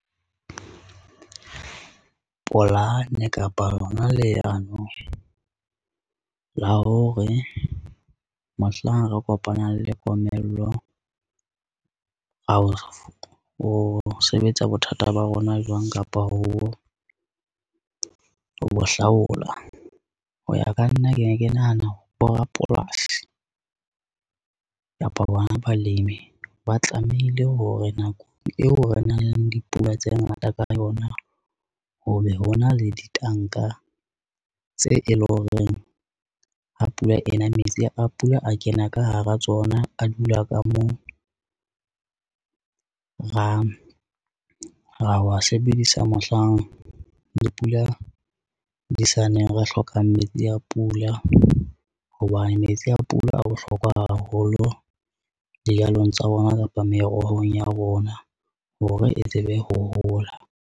Polane kapa lona leano la hore mohlang re kopanang le komello, o sebetsa bothata ba rona jwang kapa ho bo hlaola. Ho ya ka nna ke ne ke nahana borapolasi kapa bona balemi. Ba tlamehile hore nakong eo re nang le dipula tse ngata ka yona, ho be ho na le ditanka tse e leng horeng. Ha pula ena metsi a pula a kena ka hara tsona a dula ka moo ra wa sebedisa mohlang dipula di sa neng re hlokang metsi a pula, hoba metsi a pula a bohlokwa haholo dijalong tsa bona kapa merohong ya rona hore e tsebe ho hola.